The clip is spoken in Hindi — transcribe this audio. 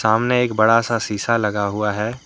सामने एक बड़ा सा शीशा लगा हुआ है।